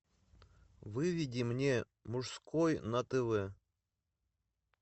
выведи мне мужской на тв